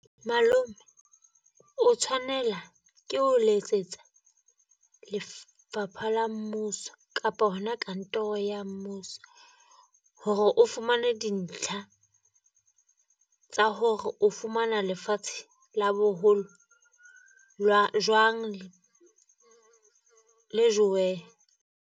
Malome o tshwanela ke o letsetsa lefapha la mmuso kapa hona kantoro ya mmuso. Hore o fumane dintlha tsa hore o fumana lefatshe la boholo lwa jwang le joweng.